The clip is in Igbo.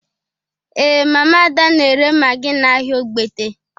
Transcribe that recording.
Ee, Mama Ada na-ere magi n’ahịa Ogbete.